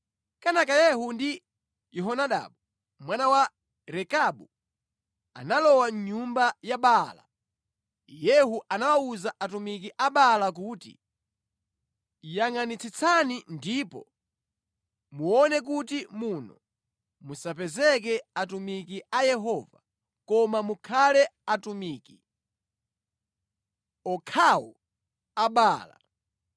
Kenaka Yehu ndi Yehonadabu mwana wa Rekabu analowa mʼnyumba ya Baala. Yehu anawawuza atumiki a Baala kuti, “Yangʼanitsitsani ndipo muone kuti muno musapezeke atumiki a Yehova, koma mukhale atumiki okhawo a Baala.”